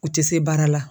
U tɛ se baara la